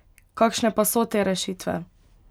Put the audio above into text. Kakšne pa so te rešitve?